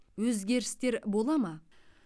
өзгерістер бола ма